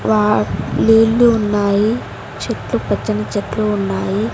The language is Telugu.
వ నీళ్లు ఉన్నాయి చెట్లు పచ్చని చెట్లు ఉన్నాయి.